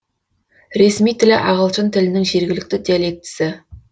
ресми тілі ағылшын тілінің жергілікті диалектісі